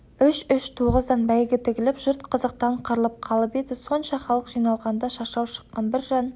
үш-үш тоғыздан бәйгі тігіліп жұрт қызықтан қырылып қалып еді сонша халық жиналғанда шашау шыққан бір жан